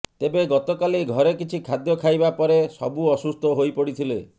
ତେବେ ଗତକାଲି ଘରେ କିଛି ଖାଦ୍ୟ ଖାଇବା ପରେ ସବୁ ଅସୁସ୍ଥ ହୋଇପଡ଼ିଥିଲେ